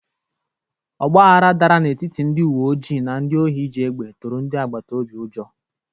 Ọgbaghara dara n'etiti ndị uwe ojii na ndị ohi ji egbe tụrụ ndị agbata obi ụjọ.